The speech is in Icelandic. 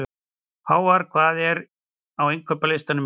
Hávarr, hvað er á innkaupalistanum mínum?